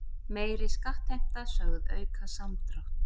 Meiri skattheimta sögð auka samdrátt